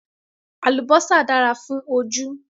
Àlùbásà dára fún ojú